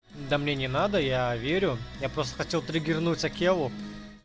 да мне не надо я верю я просто хотел триггернуть акелла